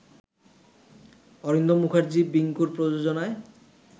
অরিন্দম মূখার্জি বিংকুর প্রযোজনায়